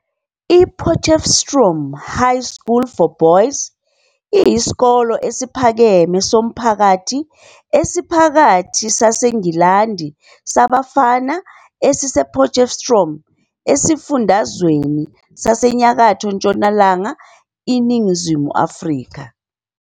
IPotchefstroom High School for Boys iyisikole esiphakeme somphakathi esiphakathi saseNgilandi sabafana esise-Potchefstroom esifundazweni saseNyakatho Ntshonalanga iNingizimu Afrika.